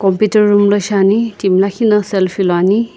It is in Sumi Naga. piter room la shiani timi lakhi na selfie luani.